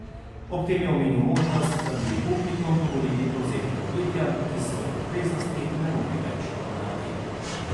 Ob tem je omenil možnost, da bi upnikom dovolili prevzeti podjetja, ki svojih obveznosti ne morejo več poravnati.